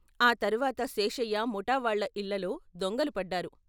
ఆ తర్వాత శేషయ్య ముఠా వాళ్ళ ఇళ్ళలో దొంగలు పడ్డారు.